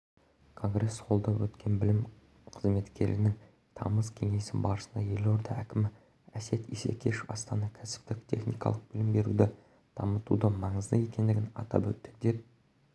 конгресс-холлда өткен білім қызметкерлерінің тамыз кеңесі барысында елорда әкімі әсет исекешев астанада кәсіптік-техникалық білім беруді дамытудың маңызды екендігін атап өтті деп